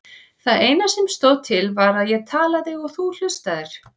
Það eina sem stóð til var að ég talaði og þú hlustaðir.